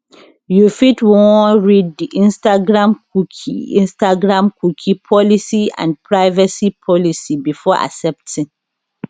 you fit wan read di instagram cookie instagram cookie policy and privacy policy before accepting